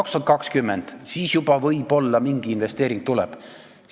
2020. aastal võib-olla mingi investeering juba tuleb.